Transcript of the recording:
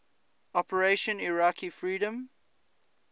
operation iraqi freedom